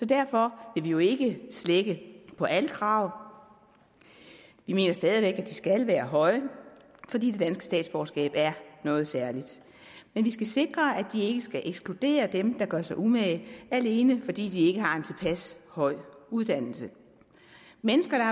derfor vil vi jo ikke slække på alle krav vi mener stadig væk at de skal være høje fordi det danske statsborgerskab er noget særligt men vi skal sikre at de ikke skal ekskludere dem der gør sig umage alene fordi de ikke har en tilpas høj uddannelse mennesker der